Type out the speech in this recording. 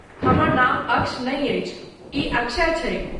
हमर नाम अक्ष नै अछि, ई अक्षय छैक।